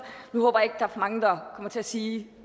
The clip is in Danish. nu håber jeg ikke er for mange der kommer til at sige